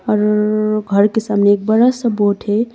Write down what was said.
और घर के सामने एक बड़ा सा बोर्ड है।